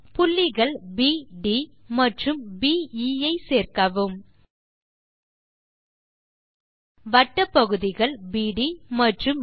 புள்ளிகள் ப் ட் மற்றும் ப் எ ஐ சேர்க்கவும் வட்டப் பகுதிகள் பிடி மற்றும் பே